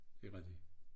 Det rigtig